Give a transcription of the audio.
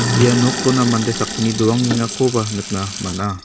ia nokona mande sakgni doangengakoba nikna man·a.